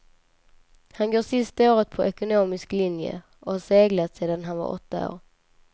Han går sista året på ekonomisk linje och har seglat sedan han var åtta år.